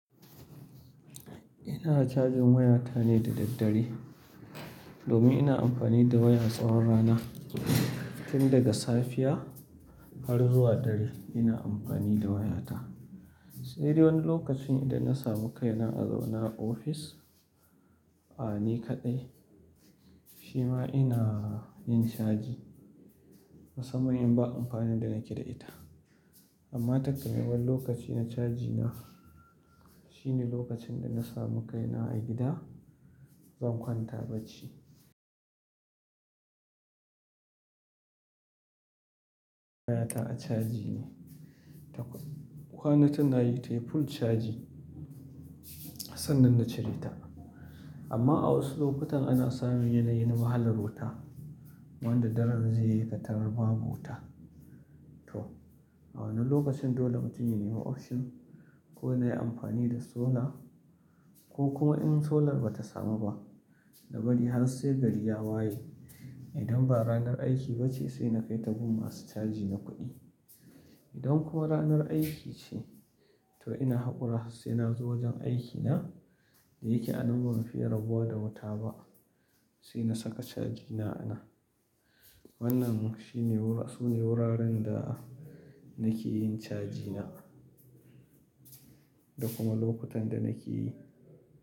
Ina chajin wayata ne da daddare domin ina amfani da wayan tsawon rana. Tun daga safiya har zuwa dare ina amfani da wayata. Sai dai wani lokacin idan na samu kaina a zaune ofis, a ni kaɗai, shi ma ina yin chaji musamman in ba amfani da nake da ita. Amma takamaiman lokacin na chaji na shine lokacin da na samu kaina a gida, zan kwanta bacci. Wayata a chaji ne. Ta kwana tana yi tayi full caji sannan na cire ta. Amma a wasu lokutan ana samun yanayi na wahalar wuta, wanda daren zai yi katarar babu wuta to a wannan lokacin dole mutum ya nemi option ko nayi amfani da solar ko kuma in solar bata samu ba, nabari har sai gari ya waye. Idan ba ranar aiki ba ce sai na kai tagun masu chaji na kuɗi. Idan kuwa ranar aiki ce, to ina haƙura sai na zo wajen aikina. Da yake a nan ba mu fi rabuwa da wuta ba sai na saka chajina a nan. Wannan shine wura--, sune wuraren da nake yin chajina da kuma lokutan da nake yi.